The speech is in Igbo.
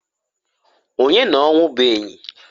Onye n'ọnwụ bụ enyi?